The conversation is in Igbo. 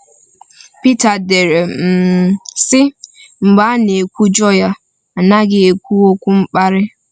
Pita dere, um sị: “Mgbe a na-ekwujọ ya, ọ naghị ekwu okwu mkparị.